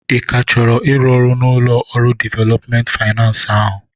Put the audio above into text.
Ị ka chọrọ ịrụ ọrụ n'ụlọ ọrụ developmenti faynans ahụ?